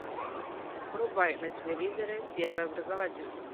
врубай на телевизоре первый образовательный